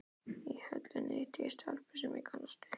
Í Höllinni hitti ég stelpu sem ég kannaðist við.